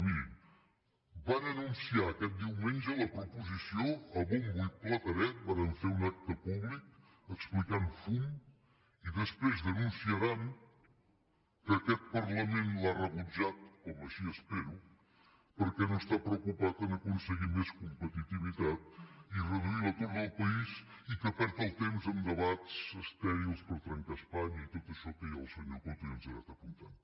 mirin van anunciar aquest diumenge la proposició a bombo i platerets varen fer un acte públic explicant fum i després denunciaran que aquest parlament l’ha rebutjat com així ho espero perquè no està preocupat d’aconseguir més competitivitat i reduir l’atur del país i que perd el temps en debats estèrils per trencar espanya i tot això que el senyor coto ja ens ha anat apuntant